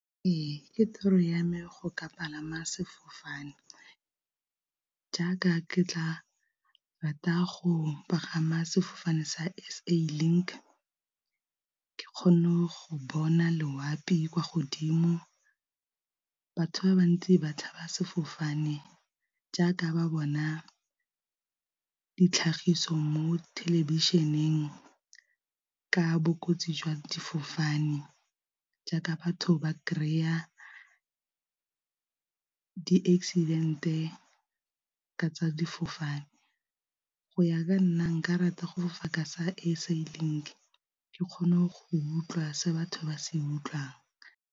Ee ke toro ya me go ka palama sefofane, jaaka ke tla rata go pagama sefofane sa S_A Link ke kgone go bona loapi kwa godimo. Batho ba bantsi batho ba sefofane jaaka ba bona ditlhagiso mo thelebišeneng ka bokotsi jwa difofane jaaka batho ba kry-a di-accident-e tsa difofane go ya ka nna nka rata go fofa ka sa S_A Link ke kgone go utlwa se batho ba se utlwang.